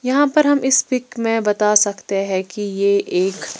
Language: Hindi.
यहां पर हम इस पिक में बता सकते हैं कि यह एक--